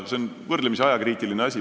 See on võrdlemisi ajakriitiline asi.